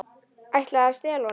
Ætlaði að stela honum!